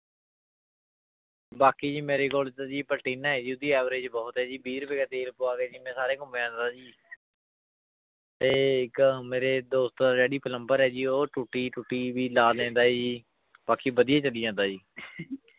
ਬਾਕੀ ਜੀ ਮੇਰੇ ਕੋਲ ਤਾਂ ਜੀ ਪਲਟੀਨਾ ਹੈ ਜੀ ਉਹਦੀ average ਬਹੁਤ ਹੈ ਜੀ, ਵੀਹ ਰੁਪਏ ਕਾ ਤੇਲ ਪਵਾ ਕੇ ਜੀ ਮੈਂ ਸਾਰੇ ਘੁੰਮੇ ਆਉਂਦਾ ਜੀ ਤੇ ਇੱਕ ਮੇਰੇ ਦੋਸਤ ਦਾ daddy plumber ਹੈ ਜੀ ਉਹ ਟੂਟੀ ਟੂਟੀ ਵੀ ਲਾ ਦਿੰਦਾ ਹੈ ਜੀ, ਬਾਕੀ ਵਧੀਆ ਚੱਲੀ ਜਾਂਦਾ ਜੀ।